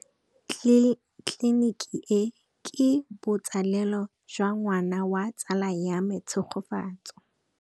Tleliniki e, ke botsalêlô jwa ngwana wa tsala ya me Tshegofatso.